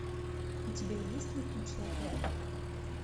у тебя есть летучий отряд